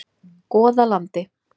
Goðalandi